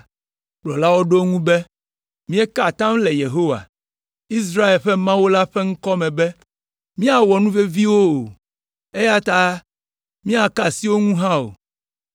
Kplɔlawo ɖo eŋu be, “Míeka atam le Yehowa, Israel ƒe Mawu la ƒe ŋkɔ me be míawɔ nuvevi wo o, eya ta míaka asi wo ŋu hã o.